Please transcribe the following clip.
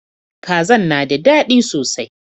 Kazan na da dadi sosai.